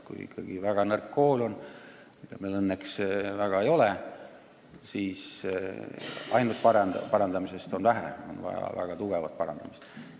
Kui ikkagi on väga nõrk kool – meil õnneks üldiselt väga nõrk ei ole –, siis ainult parandamisest on vähe, on vaja väga jõulist parandamist.